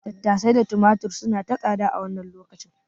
Tattasai da tumatir suna ta tsada a wannan lokacin.